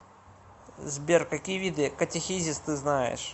сбер какие виды катехизис ты знаешь